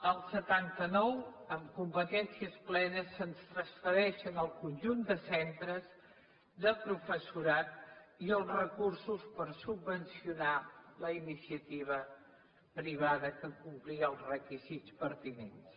el setanta nou amb competències plenes se’ns transfereixen el conjunt de centres de professorat i els recursos per subvencionar la iniciativa privada que complia els requisits pertinents